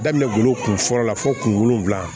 Daminɛ golo kunfɔlɔ la fo kun wolonfila